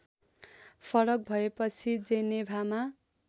फरक भएपछि जेनेभामा